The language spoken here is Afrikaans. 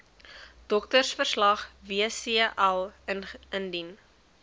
doktersverslag wcl indien